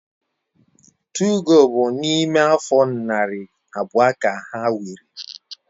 2go bu na ime afo nari abuo ka ha wiri